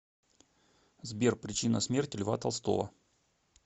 сбер причина смерти льва толстого